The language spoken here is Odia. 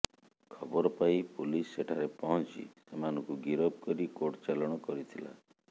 ଖବର ପାଇ ପୁଲିସ ସେଠାରେ ପହଞ୍ଚି ସେମାନଙ୍କୁ ଗିରଫ କରି କୋର୍ଟ ଚାଲାଣ କରିଥିଲା